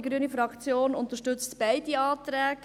Die grüne Fraktion unterstützt beide Anträge.